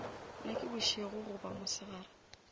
na ke bošego goba mosegare